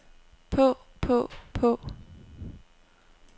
på på på